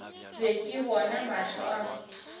be ke bona mahlo a